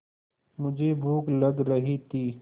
मुझे भूख लग रही थी